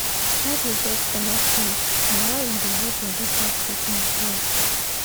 try dey get enough sleep na why e dey help body fight sickness well